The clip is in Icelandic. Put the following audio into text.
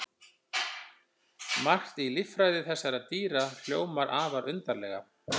Margt í líffræði þessara dýra hljómar afar undarlega.